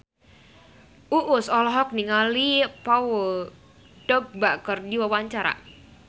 Uus olohok ningali Paul Dogba keur diwawancara